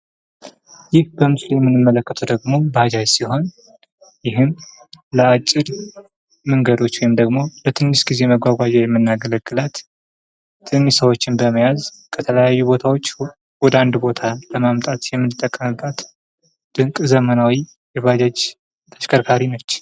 ይህ በምስሉ የምንመለከተው ደግሞ ባጃጅ ሲሆን፤ ለአጭር መንገዶች ወይም ትንሽ ሰዎችን በመያዝ ከተለያዩ ቦታዎች ወደ አንድ ቦታ ለማምጣት የምንየቀምባት ድንቅ ዘመናዊ የባጃጅ ተሽከርካሪ ነች።